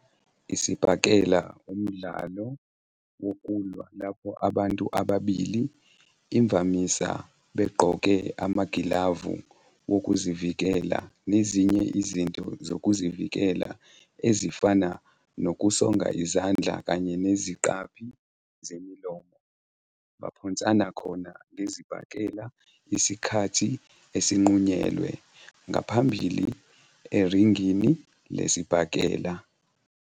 Isibhakela wumdlalo wokulwa lapho abantu ababili, imvamisa begqoke amagilavu wokuzivikela nezinye izinto zokuzivikela ezifana nokusonga izandla kanye neziqaphi zemilomo, baphonsana khona ngezibhakela isikhathi esinqunyelwe ngaphambili eringini lesibhakela.